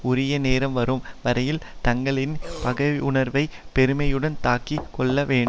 உரிய நேரம் வரும் வரையில் தங்களின் பகையுணர்வைப் பொறுமையுடன் தாங்கி கொள்ள வேண்டும்